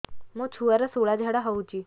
ମୋ ଛୁଆର ସୁଳା ଝାଡ଼ା ହଉଚି